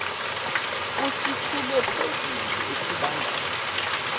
usithule phezulu esibandayo